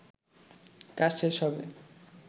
কাজ শেষ হবে